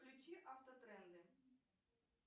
включи автотренды